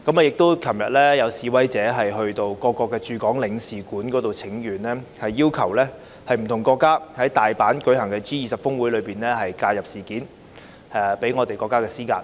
昨天亦有示威者到各國駐港領事館請願，要求不同國家在大阪舉行的 G20 峰會上介入事件，向我們的國家施壓。